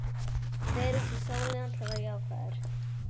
Fer út í sólina til að verða jákvæður.